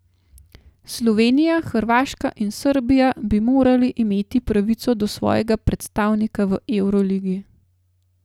Slovenija, Hrvaška in Srbija bi morali imeti pravico do svojega predstavnika v evroligi.